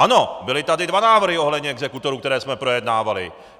Ano, byly tady dva návrhy ohledně exekutorů, které jsme projednávali.